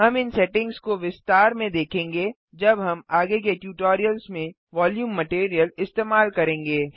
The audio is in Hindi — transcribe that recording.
हम इन सेटिंग्स को विस्तार में देखेंगे जब हम आगे के ट्यूटोरियल्स में वोल्यूम मटीरियल इस्तेमाल करेंगे